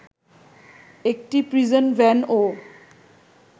একটি প্রিজন ভ্যানও